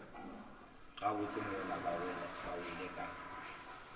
gabotse mola ba wele ka